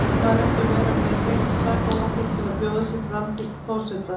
Þarf maður ekki að vera með hreint sakavottorð til að bjóða sig fram til forseta?